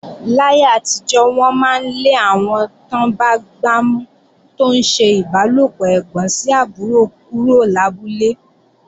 Láyé àtijọ́, wọ́n máa ń lé àwọn tán bá gbámú tó ń ṣe ìbálòpọ̀ ẹ̀gbọ́n sí àbúrò kúrò lábúlé.